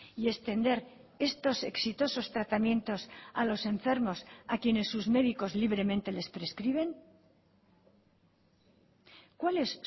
y extender estos exitosos tratamientos a los enfermos a quienes sus médicos libremente les prescriben cuál es